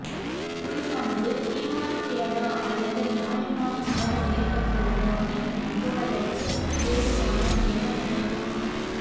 குழுவானது தீர்மானிக்கிறதா அல்லது நியாயமான மோதல் ஏற்பட்டுள்ளதா என்று நம்புவதற்கு ஏதுவானால் என்ன நடக்கும்